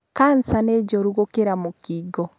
kansa nĩ njũru gũkĩra mũkingo.